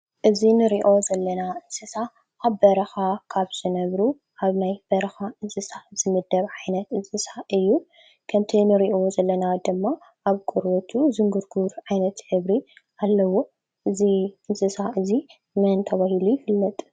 እዚ ንሪኦ ዘለና እንስሳ ኣብ በረኻ ካብ ዝነብሩ ኣብ ናይ በረኻ እንስሳ ዝምደብ ዓይነት እንስሳ እዩ። ከምቲ ንሪኦ ዘለና ድማ ኣብ ቆርበቱ ዥንጉርጉር ዓይነት ሕብሪ ኣለዎ። እዚ እንስሳ እዙይ መን ተባሃሉ ይፍለጥ ?